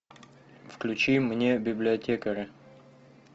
включи мне библиотекаря